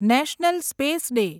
national space day